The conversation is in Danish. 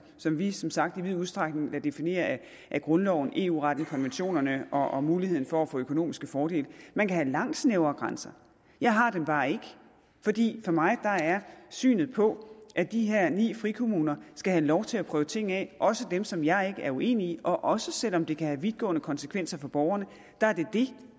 som vi som sagt i vid udstrækning lader definere af grundloven eu retten konventionerne og muligheden for at få økonomiske fordele man kan have langt snævrere grænser jeg har dem bare ikke fordi for mig der er synet på at de her ni frikommuner skal have lov til at prøve ting af også dem som jeg er enig i og også selv om det kan have vidtgående konsekvenser for borgerne det